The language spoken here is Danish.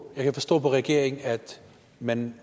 jeg kan forstå på regeringen at man